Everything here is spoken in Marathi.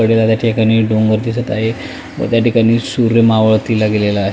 कडेला त्या ठिकाणी डोंगर दिसत आहे व त्या ठिकाणी सूर्य मावळतीला गेलेला आ --